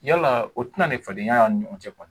Yala o tɛ na ni fadenya y'a ɲɔgɔn cɛ kɔnɔ.